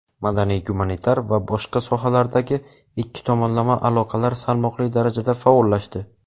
madaniy-gumanitar va boshqa sohalardagi ikki tomonlama aloqalar salmoqli darajada faollashdi.